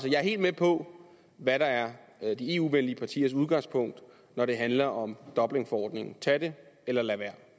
er helt med på hvad der er de eu venlige partiers udgangspunkt når det handler om dublinforordningen tag det eller lad være